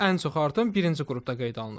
Ən çox artım birinci qrupda qeydə alınıb.